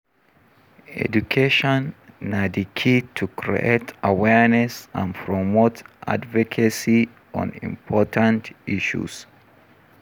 Education na di key to create awareness and promote advocacy on important issues.